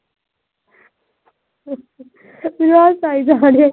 ਯਾਰ ਹਸਾਈ ਜਾ ਰਹੇ।